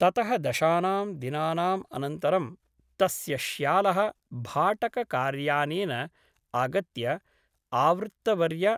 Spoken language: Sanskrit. ततः दशानां दिनानाम् अनन्तरं तस्य श्यालः भाटककार्यानेन आगत्य आवृत्तवर्य ।